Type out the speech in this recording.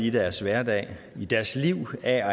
i deres hverdag og i deres liv er